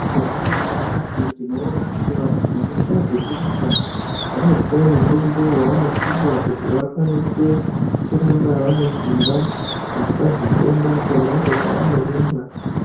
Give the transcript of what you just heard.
Tikaningira nyamashi tinoona kuti vantu vanoita zvekurumba vanopuwa mitombo yavanopuwa kuti vakwanise kuramba vanesimba, vasazofenda pona apo pavanorumba.